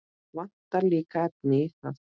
Vantar líka efnið í það.